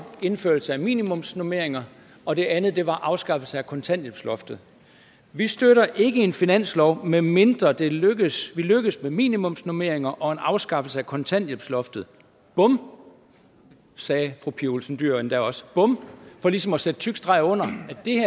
indførelse af minimumsnormeringer og det andet var afskaffelse af kontanthjælpsloftet vi støtter ikke en finanslov medmindre vi lykkes lykkes med minimumsnormeringer og en afskaffelse af kontanthjælpsloftet bum sagde fru pia olsen dyhr endda også bum for ligesom at sætte en tyk streg under